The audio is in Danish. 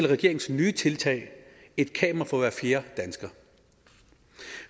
regeringens nye tiltag et kamera for hver fjerde dansker